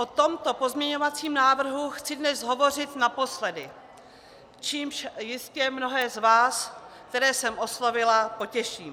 O tomto pozměňovacím návrhu chci dnes hovořit naposledy, čímž jistě mnohé z vás, které jsem oslovila, potěším.